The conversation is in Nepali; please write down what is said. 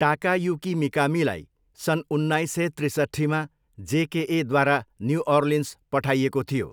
टाकायुकी मिकामीलाई सन् उन्नाइस सय त्रिसट्ठीमा जेकेएद्वारा न्युअर्लिन्स पठाइएको थियो।